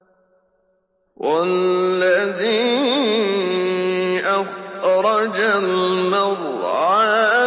وَالَّذِي أَخْرَجَ الْمَرْعَىٰ